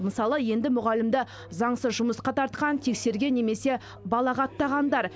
мысалы енді мұғалімді заңсыз жұмысқа тартқан тексерген немесе балағаттағандар